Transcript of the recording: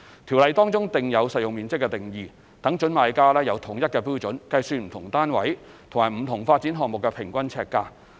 條例中訂有實用面積的定義，讓準買家有統一標準計算不同單位及不同發展項目的平均呎價。